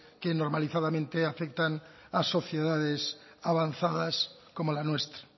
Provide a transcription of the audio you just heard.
que normalizadamente afectan a sociedades avanzadas como la nuestra